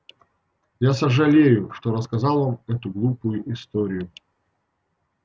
я сожалею что рассказал вам эту глупую историю